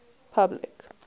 public